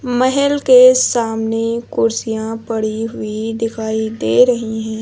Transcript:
महल के सामने कुर्सियां पड़ी हुई दिखाई दे रही हैं।